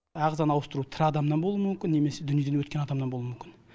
ағзаны ауыстыру тірі адамнан болуы мүмкін немесе дүниеден өткен адамнан болуы мүмкін